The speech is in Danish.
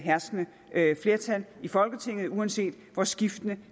herskende flertal i folketinget uanset hvor skiftende